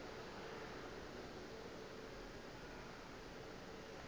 ge go le bjalo ka